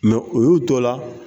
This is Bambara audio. o y'u to la.